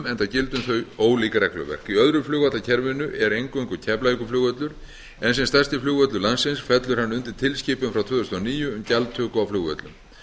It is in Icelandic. þau ólíkt regluverk í öðru flugvallakerfinu er eingöngu keflavíkurflugvöllur en sem stærsti flugvöllur landsins fellur hann undir tilskipun frá tvö þúsund og níu um gjaldtöku á flugvöllum